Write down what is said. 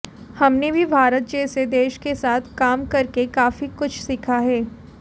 हमने भी भारत जैसे देश के साथ काम करके काफी कुछ सीखा है